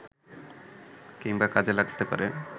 কিংবা কাজে লাগতে পারে